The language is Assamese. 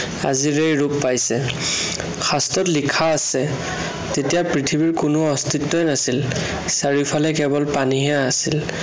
আজিৰ এই ৰূপ পাইছে। শাস্ত্ৰত লিখা আছে, তেতিয়া পৃথিৱীৰ কোনো অস্তিত্বই নাছিল। চাৰিওফালে কেৱল পানীহে আছিল।